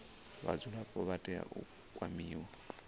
vhadzulapo vha tea u kwamiwa